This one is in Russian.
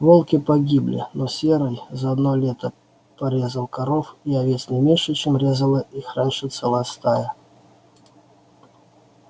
волки погибли но серый за одно лето порезал коров и овец не меньше чем резала их раньше целая стая